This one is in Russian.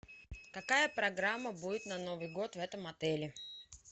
какая программа будет на новый год в этом отеле